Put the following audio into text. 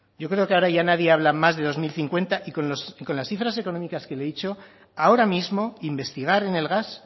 yo creo que ahora ya nadie habla más de dos mil cincuenta y con las cifras económicas que le he dicho ahora mismo investigar en el gas